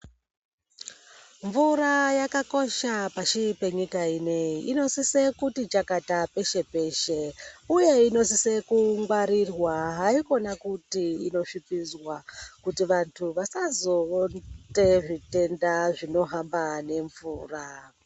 Mvura yakakosha mukati mwenyika ineyi inosisa kuti iti chakata pashi peshe uye inosiswe kungwarirwa haikona kuti inosvipidzwa kuti canhu vasazoite zvitenda zvinohamba nomvura.